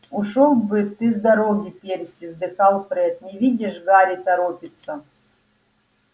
ушёл бы ты с дороги перси вздыхал фред не видишь гарри торопится